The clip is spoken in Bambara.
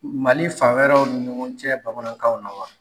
Mali fan wɛrɛw ni ɲɔgɔn cɛ bamanankanw na wa?